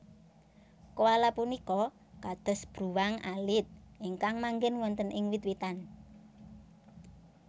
Koala punika kados bruwang alit ingkang manggén wonten ing wit witan